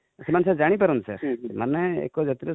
ସେମାନେ ଜାଣି ପାରନ୍ତି sir ମାନେ sir ଏକଜାତିରେ